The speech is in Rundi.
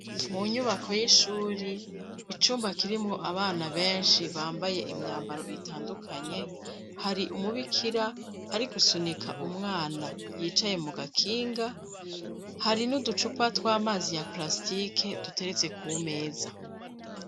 Mu nyubako y'ishuri icumba kirimwo abana benshi bambaye imyambaro itandukanye hari umubikira ari gusunika umwana yicaye mu gakinga hari n'uducupa tw'amazi ya plastike dutereze ku meza.